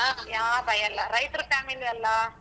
ಯಾವ್ ಭಯ ಇಲ್ಲ ರೈತ್ರ್ family ಅಲ್ಲಾ.